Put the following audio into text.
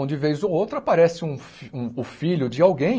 Onde, vez ou outra, aparece um fi um o filho de alguém